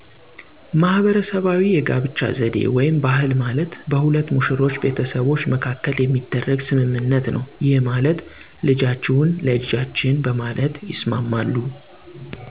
ማህበረሰባዊ የጋብቻ ዘዴ (ባህል) ማለት በሁለት ሙሽሮች ቤተሰቦች መካከል የሚደረግ ስምምነት ነው ይህም ማለት '' ልጃችሁን ለልጃችን '' በማለት ይስማማሉ